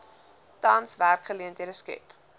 tans werksgeleenthede skep